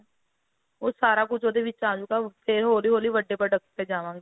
ਉਹ ਸਾਰਾ ਕੁੱਝ ਉਹਦੇ ਵਿੱਚ ਅਜੁਗਾ ਫੇਰ ਹੋਲੀ ਹੋਲੀ ਵੱਡੇ product ਤੇ ਜਾਵਾਗੇ